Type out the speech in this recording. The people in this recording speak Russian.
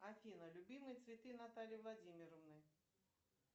афина любимые цветы натальи владимировны